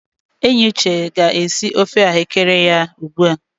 Enyi Uche ga na-esi ofe ahụ́kere ya ugbu a.